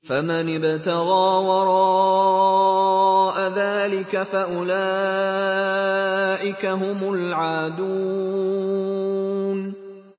فَمَنِ ابْتَغَىٰ وَرَاءَ ذَٰلِكَ فَأُولَٰئِكَ هُمُ الْعَادُونَ